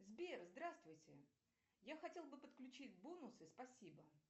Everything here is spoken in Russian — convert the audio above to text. сбер здравствуйте я хотела бы подключить бонусы спасибо